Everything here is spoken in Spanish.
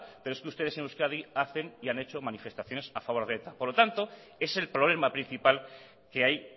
pero es que ustedes en euskadi hacen y han hecho manifestaciones a favor de eta por lo tanto es el problema principal que hay